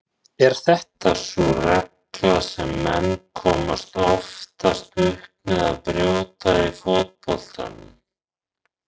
Er þetta sú regla sem menn komast oftast upp með að brjóta í fótboltanum?